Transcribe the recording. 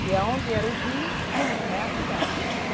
Que onde era o rio, é a cidade.